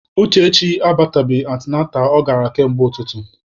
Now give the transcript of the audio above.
Uchechi abatabeghị antịnantal ọ gara kamgbe ụtụtụ.